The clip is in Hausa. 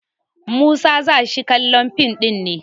Musa za shi kallon fim ɗin ne?